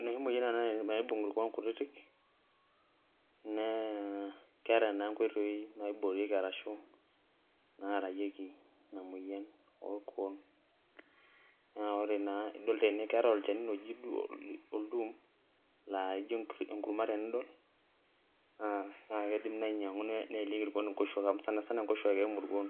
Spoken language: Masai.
Enoshi moyian enabnaibung irkuon kutitik na keeta na nkoitoi naiboorieki aahu naararieki inamoyian orkuon na ore na idol tene keetae olchani laijo oldum na enidol ino nkuron na keidim nai ainyangu neimieki nkoshuak amu ninye eimu irkuon